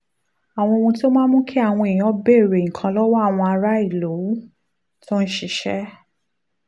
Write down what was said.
àwọn ohun tó máa ń mú káwọn èèyàn béèrè nǹkan lọ́wọ́ àwọn aráàlú tó ń ṣiṣẹ́